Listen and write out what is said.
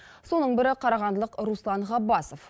соның бірі қарағандылық руслан ғаббасов